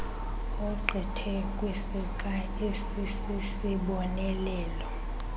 ogqithe kwisixa esisisibonelelo